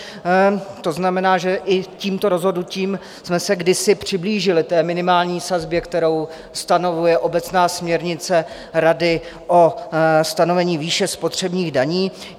To znamená, že i tímto rozhodnutím jsme se kdysi přiblížili té minimální sazbě, kterou stanovuje obecná směrnice rady o stanovení výše spotřebních daní.